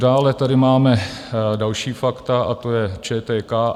Dále tady máme další fakta, a to je ČTK.